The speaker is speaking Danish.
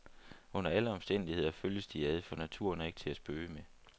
Under alle omstændigheder følges de ad, for naturen er ikke til at spøge med.